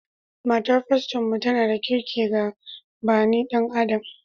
Matar faston mu tana da kirƙi ga bani adama